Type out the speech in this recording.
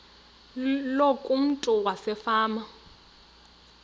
loku umntu wasefama